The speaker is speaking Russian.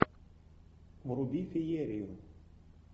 вруби феерию